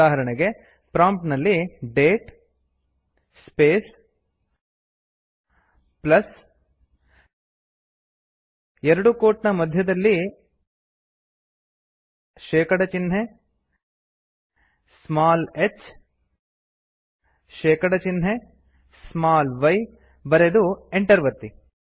ಉದಾಹರಣೆಗೆ ಪ್ರಾಂಪ್ಟ್ ನಲ್ಲಿ date space plus ಎರಡು ಕೋಟ್ ನ ಮಧ್ಯದಲ್ಲಿ160 ಶೇಕಡ ಚಿಹ್ನೆ ಸ್ಮಾಲ್ h160 ಶೇಕಡ ಚಿಹ್ನೆ ಸ್ಮಾಲ್ y ಬರೆದು ಎಂಟರ್ ಒತ್ತಿ